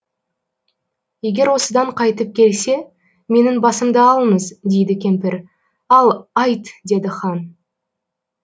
егер осыдан қайтып келсе менің басымды алыңыз дейді кемпір ал айт деді хан